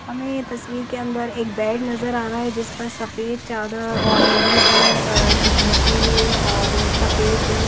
हमे ये तस्वीर के अंदर एक बेड नजर आ रहा है जिस पर सफेद चादर और नीली भी अ दिख रखी हुई है और सफेद--